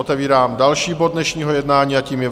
Otevírám další bod dnešního jednání a tím je